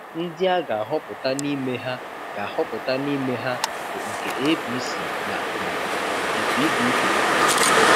Ndị a ga-ahọpụta n’ime ha ga-ahọpụta n’ime ha bụ nke APC na um nke PDP. um